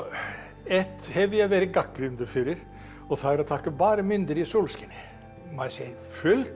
eitt hef ég verið gagnrýndur fyrir og það er að taka bara myndir í sólskini maður sér fullt